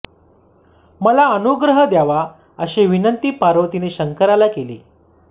मला अनुग्रह द्यावा अशी विनंती पार्वतीने शंकराला केली